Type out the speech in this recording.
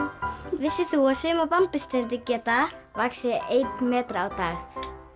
vissir þú að sumar geta vaxið einn metra á dag